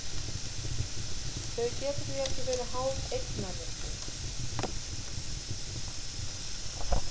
Þau geta því ekki verið háð eignarrétti.